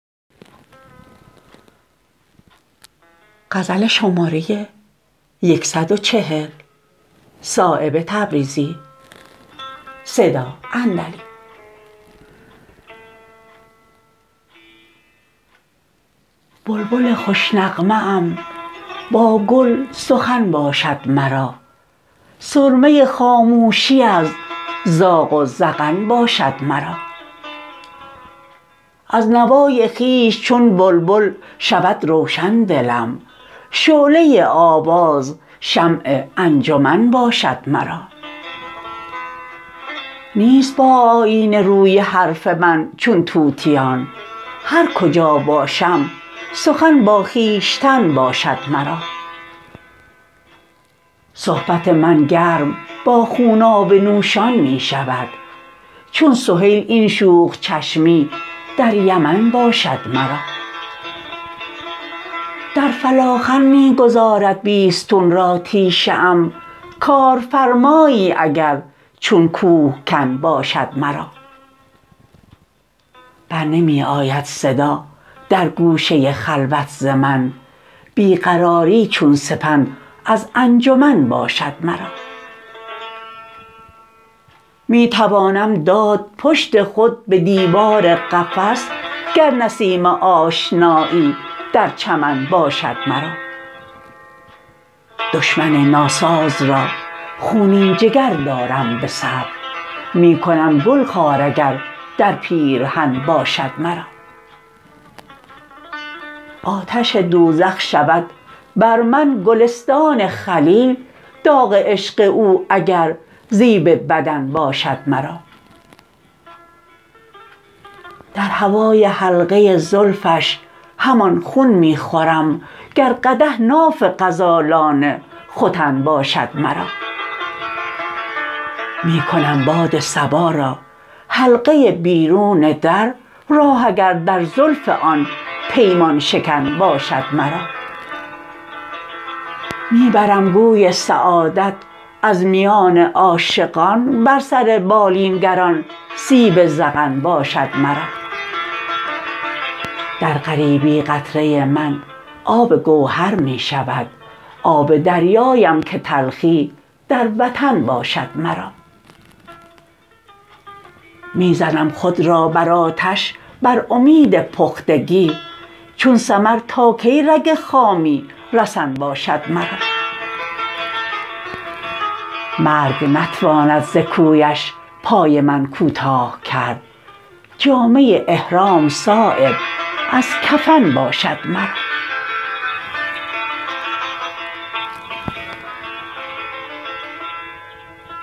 بلبل خوش نغمه ام با گل سخن باشد مرا سرمه خاموشی از زاغ و زغن باشد مرا از نوای خویش چون بلبل شود روشن دلم شعله آواز شمع انجمن باشد مرا نیست با آیینه روی حرف من چون طوطیان هر کجا باشم سخن با خویشتن باشد مرا صحبت من گرم با خونابه نوشان می شود چون سهیل این شوخ چشمی در یمن باشد مرا در فلاخن می گذارد بیستون را تیشه ام کارفرمایی اگر چون کوهکن باشد مرا بر نمی آید صدا در گوشه خلوت ز من بی قراری چون سپند از انجمن باشد مرا می توانم داد پشت خود به دیوار قفس گر نسیم آشنایی در چمن باشد مرا دشمن ناساز را خونین جگر دارم به صبر می کنم گل خار اگر در پیرهن باشد مرا آتش دوزخ شود بر من گلستان خلیل داغ عشق او اگر زیب بدن باشد مرا در هوای حلقه زلفش همان خون می خورم گر قدح ناف غزالان ختن باشد مرا می کنم باد صبا را حلقه بیرون در راه اگر در زلف آن پیمان شکن باشد مرا می برم گوی سعادت از میان عاشقان بر سر بالین گر آن سیب ذقن باشد مرا در غریبی قطره من آب گوهر می شود آب دریایم که تلخی در وطن باشد مرا می زنم خود را بر آتش بر امید پختگی چون ثمر تا کی رگ خامی رسن باشد مرا مرگ نتواند ز کویش پای من کوتاه کرد جامه احرام صایب از کفن باشد مرا